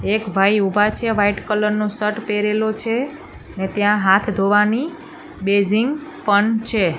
એક ભાઈ ઊભા છે વ્હાઇટ કલર નો શર્ટ પહેરેલો છે ને ત્યાં હાથ ધોવાની બેસિન પણ છે.